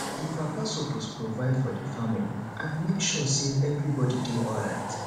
di papa suppose provide for di family and make sure sey everybodi dey alright